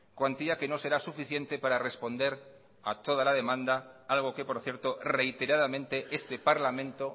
cuantía que no será suficiente para responder a toda la demanda algo que por cierto reiteradamente este parlamento